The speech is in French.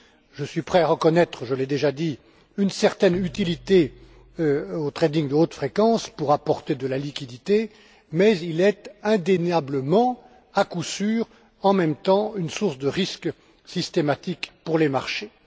je suis prêt à reconnaître je l'ai déjà dit une certaine utilité au trading de haute fréquence pour apporter de la liquidité mais il est indéniablement, en même temps, une source de risque systématique pour les marchés.